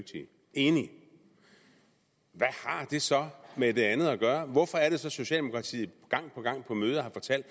enig hvad har det så med det andet at gøre hvorfor er det så at socialdemokratiet gang på gang på møder har fortalt